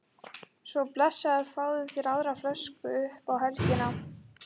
Svo blessaður fáðu þér aðra flösku upp á helgina